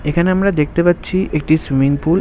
এখানে আমরা দেখতে পাচ্ছি একটি সুইমিং পুল ।